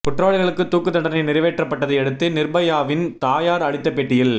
குற்றவாளிகளுக்கு தூக்கு தண்டனை நிறைவேற்றப்பட்டதையடுத்து நிர்பயாவின் தாயார் அளித்த பேட்டியில்